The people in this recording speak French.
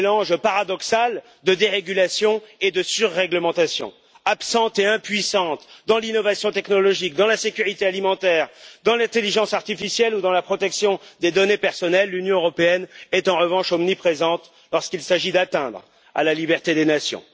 Mélange paradoxal de dérégulation et de surrèglementation, absente et impuissante dans l'innovation technologique, dans la sécurité alimentaire, dans l'intelligence artificielle ou dans la protection des données personnelles, l'Union européenne est en revanche omniprésente lorsqu'il s'agit de porter atteinte à la liberté des nations.